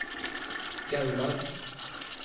Gaular